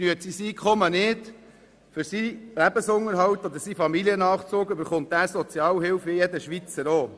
Reicht sein Einkommen für seinen Lebensunterhalt und seinen Familiennachzug nicht, erhält er Sozialhilfe wie jeder Schweizer auch.